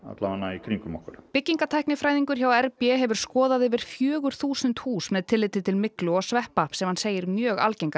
í kring um okkur byggingatæknifræðingur hjá Rannsóknarmiðstöðinni hefur skoðað yfir fjögur þúsund hús með tilliti til myglu og sveppa sem hann segir mjög algenga